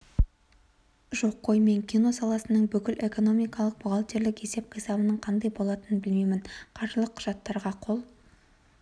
жоқ қой мен кино саласының бүкіл экономикалық бухгалтерлік есеп-қисабының қандай болатыны білмеймін қаржылық құжаттарға қол